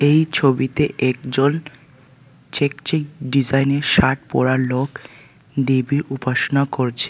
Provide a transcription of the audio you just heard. এই ছবিতে একজন চেক চেক ডিজাইনের শার্ট পরা লোক দেবীর উপাসনা করছে।